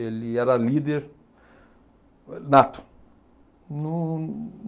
Ele era líder nato. Num